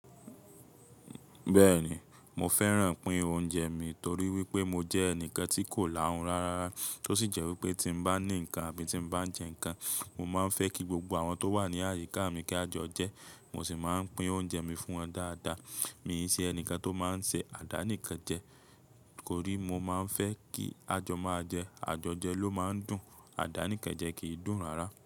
Bẹ́ẹ̀ni, mo fẹ́ran pin oúnjẹ mi torí wípé mo jẹ́ ẹnìkan tí kò láhun rárá, tó sì jẹ́ wípé tí mo bá ní ǹkan àbí tí n bá n jẹ ǹkan, mo máa ń fẹ́ kí gbogbo àwọn tó wà ní àyíká mi kí a jọ jẹ, mo sì máa ń pín oúnjẹ mi fún wọn dáadáa. Mi i ṣe ẹnìkan tó máa ń ṣe àdánìkẹ́jẹ, torí mo máa ń fẹ́ kí a jọ máa jẹ, àjọjẹ ló máa ń dùn, àdánìkẹ́jẹ kì í dùn rárá.